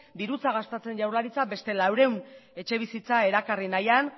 dirutza gastatzen jaurlaritza beste laurehun etxebizitza erakarri nahian